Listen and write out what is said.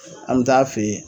an mɛ taa'a fe yen